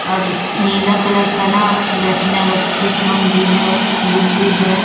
और नीला कलर का ना बैठने वाला भी है बुक भी है।